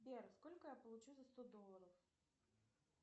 сбер сколько я получу за сто долларов